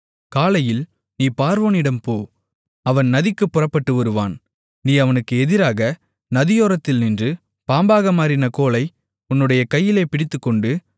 காலையில் நீ பார்வோனிடம் போ அவன் நதிக்குப் புறப்பட்டு வருவான் நீ அவனுக்கு எதிராக நதியோரத்தில் நின்று பாம்பாக மாறின கோலை உன்னுடைய கையிலே பிடித்துக்கொண்டு